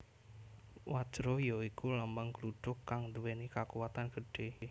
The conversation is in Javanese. Wajra ya iku lambang gludhug kang nduwèni kakuwatan gedhé